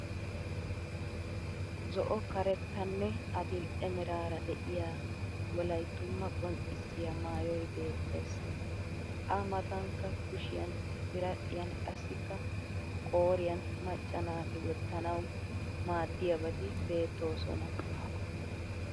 Zo'o karettanne adil'e meraara de'iyaa wolayttumaa conccissiya maayoy beettes. A matankka kushiyan biradhdhiyan qassikka qooriyan macca naati wottanawu maadddiyaabati beettoosona.